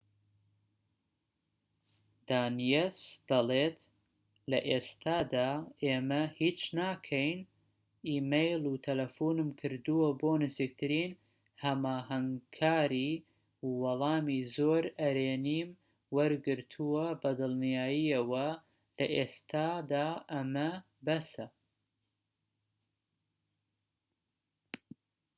دانیەس دەڵێت لە ئێستادا ئێمە هیچ ناکەین ئیمەیل و تەلەفونم کردووە بۆ نزیکترین هەماهەنگکاری و وەڵامی زۆر ئەرێنیم وەرگرتووە بە دڵنیاییەوە لە ئێستادا ئەمە بەسە